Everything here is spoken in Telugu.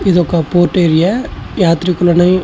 ఇది ఒక పోర్ట్ ఏరియా . యాత్రికులని --